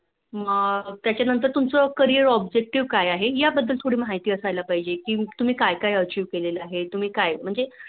मग त्याच्या नंहत तुमचं Carrier objective काय आहे या बद्द्दल थोडी महिलाअसायला पाहिजे कि तुम्ही काय काय Achive केले आहे तुम्हजी काय म्म्हणजे